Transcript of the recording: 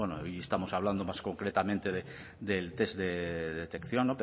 pero bueno y estamos hablando más concretamente del test de detección